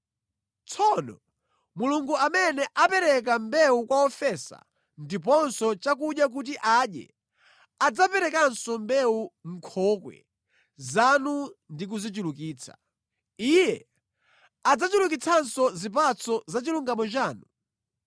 Tsono Mulungu amene amapereka mbewu kwa wofesa, ndiponso chakudya kuti adye, adzaperekanso mbewu mʼnkhokwe zanu ndi kuzichulukitsa. Iye adzachulukitsanso zipatso za chilungamo chanu.